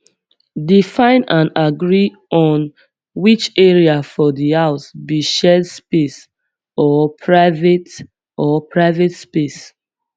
define and agree on which area for di house be shared space or private or private space